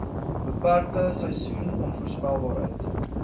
beperkte seisoen onvoorspelbaarheid